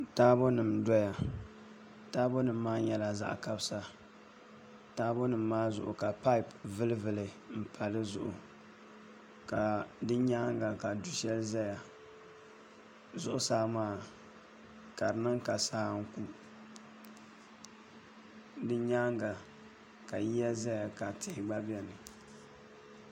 Taabo nim n doya taabo nim maa nyɛla zaɣ kabisa taabo nim maa zuɣu ka paip vuli vuli n paya di zuɣu ka di nyaanga ka du shɛli ʒɛya zuɣusaa maa ka di niŋ ka saa n ku di nyaanga ka yiya ʒɛya ka tihi gba biɛni